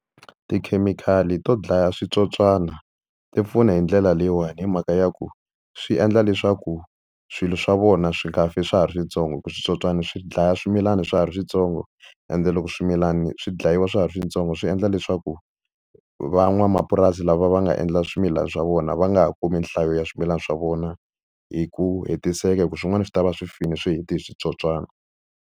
Tikhemikhali to dlaya switsotswana ti pfuna hi ndlela leyiwani hi mhaka ya ku swi endla leswaku swilo swa vona swi nga fi swa ha ri swintsongo hi ku switsotswana swi dlaya swimilana swa ha ri swintsongo, ende loko swimilana swi dlayiwa swa ha ri swintsongo swi endla leswaku van'wamapurasi lava va nga endla swimilana swa vona va nga ha kumi nhlayo ya swimilana swa vona hi ku hetiseka hi ku swin'wana swi tava swi file swi heti hi switsotswana.